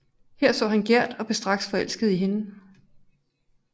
Her så han Gerd og blev straks forelsket i hende